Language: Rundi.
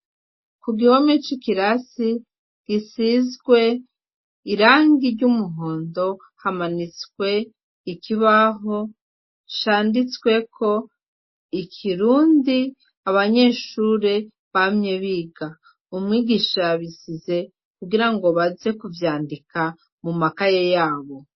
Ku gihome c'ikirasi gisizwe irangi ry'umuhondo hamanitswe ikibaho canditsweko ikirundi abanyeshure bamye biga umwigisha bisize kugira ngo baze kuvyandika mu maka ye yabo.